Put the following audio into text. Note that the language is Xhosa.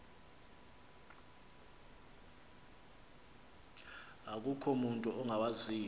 akukho mutu ungawaziyo